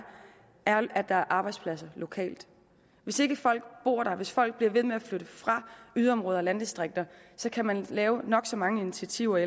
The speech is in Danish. er at der er arbejdspladser lokalt hvis ikke folk bor der hvis folk bliver ved med at flytte fra yderområder og landdistrikter så kan man lave nok så mange initiativer